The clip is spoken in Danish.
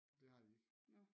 Det har de ikke